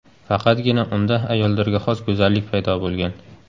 Faqatgina unda ayollarga xos go‘zallik paydo bo‘lgan.